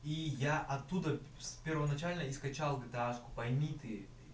и я оттуда первоначально скачал видашку пойми ты